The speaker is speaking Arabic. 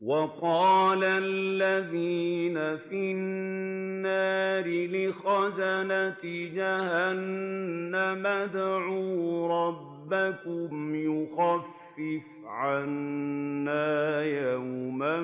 وَقَالَ الَّذِينَ فِي النَّارِ لِخَزَنَةِ جَهَنَّمَ ادْعُوا رَبَّكُمْ يُخَفِّفْ عَنَّا يَوْمًا